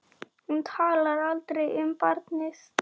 Hún talar aldrei um barnið.